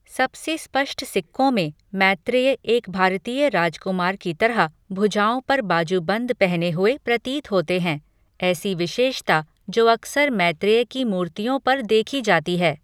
सबसे स्पष्ट सिक्कों में, मैत्रेय एक भारतीय राजकुमार की तरह भुजाओं पर बाजूबंद पहने हुए प्रतीत होते हैं, ऐसी विशेषता जो अक्सर मैत्रेय की मूर्तियों पर देखी जाती है।